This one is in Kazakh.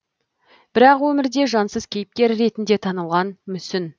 бірақ өмірде жансыз кейіпкер ретінде танылған мүсін